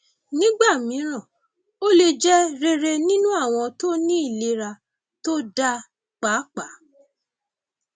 nígbà mìíràn ó lè jẹ rere nínú àwọn tó ní ìlera tó dáa pàápàá